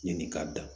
Ɲininka